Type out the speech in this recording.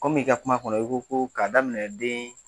Komi i ka kuma kɔnɔ i ko ko k'a daminɛ den